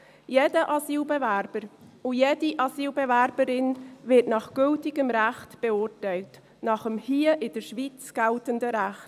Jeder Asylbewerber und jede Asylbewerberin wird nach gültigem Recht beurteilt, nach dem hier in der Schweiz geltenden Recht.